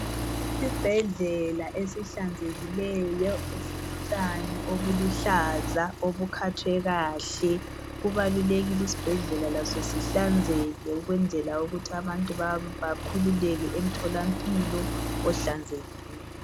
Isibhedlela esihlanzekileyo esilotshani obuluhlaza obukhathwe kahle. Kubalulekile isibhedlela laso sihlanzeke ukwenzela ukuthi abantu bakhululeke emtholampilo ohlanzekileyo.